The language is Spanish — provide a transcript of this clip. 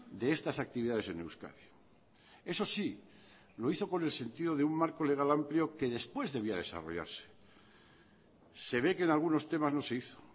de estas actividades en euskadi eso sí lo hizo con el sentido de un marco legal amplio que después debía desarrollarse se ve que en algunos temas no se hizo